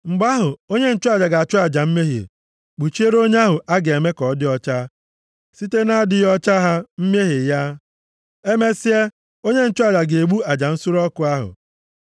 “Mgbe ahụ, onye nchụaja ga-achụ aja mmehie, kpuchiere onye ahụ a ga-eme ka ọ dị ọcha site na-adịghị ọcha ha mmehie ya. Emesịa, onye nchụaja ga-egbu aja nsure ọkụ ahụ,